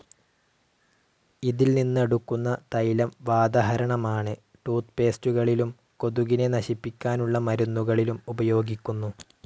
ഇതിൽ നിന്നെടുക്കുന്ന തൈലം വാതഹരമാണ്. ടൂത്ത്പേസ്റ്റുകളിലും കൊതുകിനെ നശിപ്പിക്കാനുള്ള മരുന്നുകളിലും ഉപയോഗിക്കുന്നു.